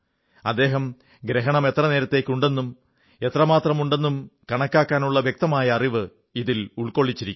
അദ്ദേഹം ഗ്രഹണം എത്രനേരത്തേക്കുണ്ടെന്നും എത്രമാത്രമുണ്ടെന്നും കണക്കാക്കാനുള്ള വ്യക്തമായ അറിവ് ഇതിൽ ഉൾക്കൊള്ളിച്ചിരിക്കുന്നു